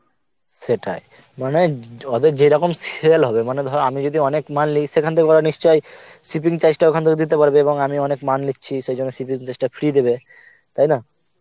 সেটাই, মানে ওদের যেরকম sell হবে মানে ধর আমি যদি অনেক মাল নি সেখান থেকে ওরা নিশ্চই shipping charge টা ওখান থেকে দিতে পারবে এবং আমি অনেক মাল নিচ্ছি সেই জন্য shipping charge টা free দেবে, তাইনা?